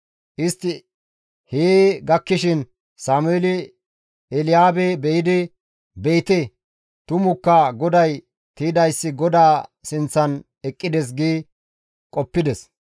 Istti hee gakkishin Sameeli Elyaabe be7idi, «Be7ite; tumukka GODAY tiydayssi GODAA sinththan eqqides» gi qoppides.